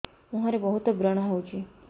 ମୁଁହରେ ବହୁତ ବ୍ରଣ ହଉଛି